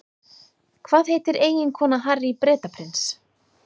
Hvað heitir eiginkona Harry Bretaprins?